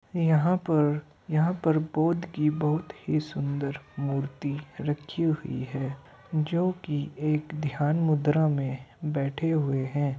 यहाॅं पर यहाॅं पर बौद्ध की बहोत ही सुंदर मूर्ति रखी हुई हैं जोकि एक ध्यान मुद्रा में बैठे हुए हैं।